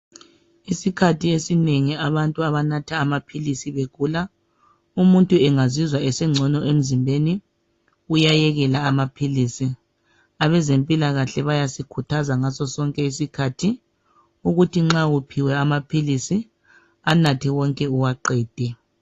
Isikhathi esinengi abantu abanatha amaphilisi begula .Umuntu engazizwa esengcono emzimbeni ,uyayekela amaphilisi. Abezempilakahle bayasikhuthaza ngaso sonke isikhathi, ukuthi nxa uphiwe amaphilisi anathe wonke uwaqede.